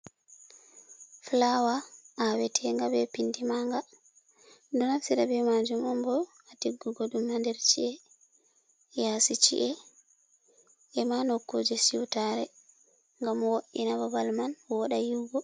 Flawa awetenga be pindi manga ɗum ɗo naftira be majum, umbo ha tiggugo dum ha nder chi’e, yasi chi’e ema nokkuje siwtare, ngam wodina babal man woda yiugo.